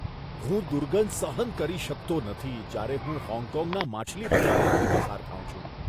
હું દુર્ગંધ સહન કરી શકતો નથી જ્યારે હું હોંગકોંગના માછલી બજારમાંથી પસાર થાઉં છું.